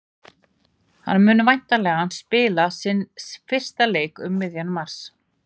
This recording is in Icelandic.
Hann mun væntanlega spila sinn fyrsta leik um miðjan mars.